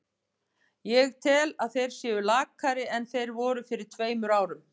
Ég tel að þeir séu lakari en þeir voru fyrir tveimur árum.